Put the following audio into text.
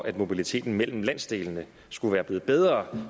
at mobiliteten mellem landsdelene er blevet bedre